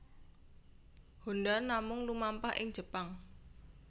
Honda namung lumampah ing Jepang